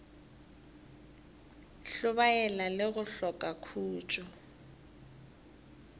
hlobaela le go hloka khutšo